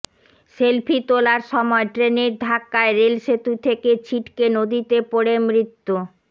selfie তোলার সময় ট্রেনের ধাক্কায় রেল সেতু থেকে ছিটকে নদীতে পড়ে মৃত্যু